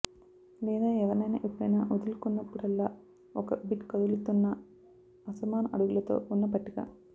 లేదా ఎవరినైనా ఎప్పుడైనా వదులుకున్నప్పుడల్లా ఒక బిట్ కదులుతున్న అసమాన అడుగులతో ఉన్న పట్టిక